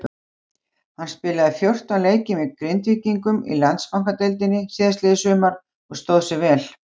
Hann spilaði fjórtán leiki með Grindvíkingum í Landsbankadeildinni síðastliðið sumar og stóð sig vel.